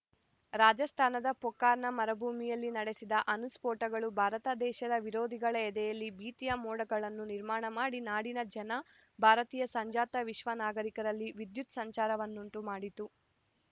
ರಾಜಸ್ಥಾನದ ಪೋಖ್ರಾನ್‌ನ ಮರುಭೂಮಿಯಲ್ಲಿ ನಡೆಸಿದ ಅಣುಸ್ಫೋಟಗಳು ಭಾರತ ದೇಶದ ವಿರೋಧಿಗಳ ಎದೆಯಲ್ಲಿ ಭೀತಿಯ ಮೋಡಗಳನ್ನು ನಿರ್ಮಾಣ ಮಾಡಿ ನಾಡಿನ ಜನ ಭಾರತೀಯ ಸಂಜಾತ ವಿಶ್ವ ನಾಗರಿಕರಲ್ಲಿ ವಿದ್ಯುತ್‌ ಸಂಚಾರವನ್ನುಂಟು ಮಾಡಿತು